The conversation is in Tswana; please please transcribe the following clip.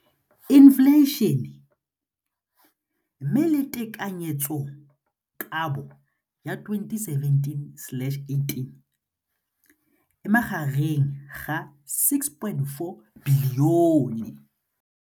Infleišene, mme tekanyetsokabo ya 2017 le 2018 e magareng ga R6.4 bilione.